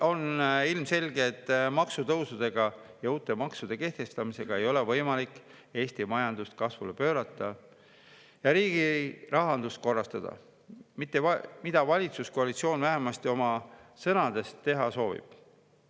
On ilmselge, et maksutõusudega ja uute maksude kehtestamisega ei ole võimalik Eesti majandust kasvule pöörata ja riigi rahandust korrastada, mida valitsuskoalitsioon vähemasti oma sõnade järgi teha soovib.